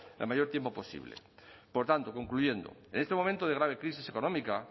el mayor tiempo posible por tanto concluyendo en este momento de grave crisis económica